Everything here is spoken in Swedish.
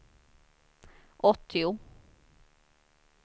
åttio